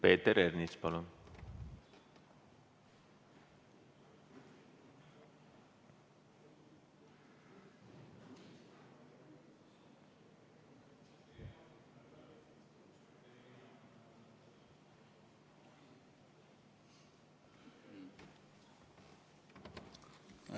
Peeter Ernits, palun!